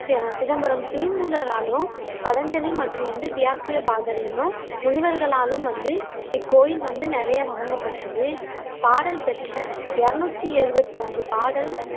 C Chidambaram திருமூலராலும், பதஞ்சலி மற்றும் வந்து வியாக்கியபாதர் என்னும் முனிவர்களாலும் வந்து இக்கோயில் வந்து நிறைய வணங்கப்பெற்றது பாடல் பெற்ற இருநூத்து எழுவத்து அஞ்சு பாடல்